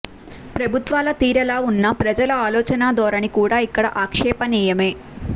ప్రభుత్వాల తీరెలా ఉన్నా ప్రజల ఆలోచనా ధోరణి కూడా ఇక్కడ ఆక్షేపనీయమే